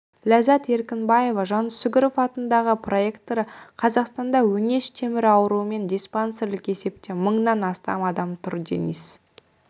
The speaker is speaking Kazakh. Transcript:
ләззат еркінбаева жансүгіров атындағы проректоры қазақстанда өңеш темірі ауруымен диспансерлік есепте мыңнан астам адам тұр денис